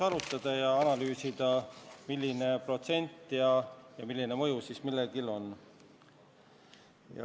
Arutame ja analüüsime koos, milline mõju teatud protsentidel võiks olla.